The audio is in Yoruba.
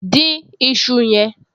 Dín iṣu yẹn!